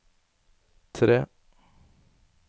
tre